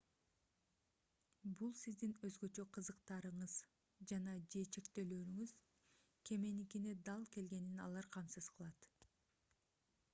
бул сиздин өзгөчө кызыктарыңыз жана/же чектөөлөрүңүз кеменикине дал келгенин алар камсыз кылат